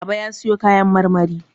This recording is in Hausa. Baba ya sayo kayan marmari.